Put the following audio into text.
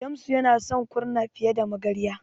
Shamsu yana son Kurna fiye da Magarya.